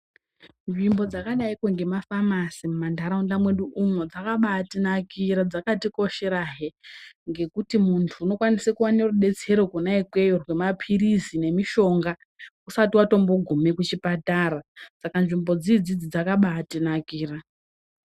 Zvimbo dzakadaikwe ngemaFamasi muma ndaraunda mwedu umwo dzakaba atinakira, dzakatikosherahe ngekuti mundu unokwanise kuwane rubetsero kwena iyeyo remapiritsi nemishonga usati watombo gume kuchipatara, saka nzvimbo idzidzi dzakaba atinakira.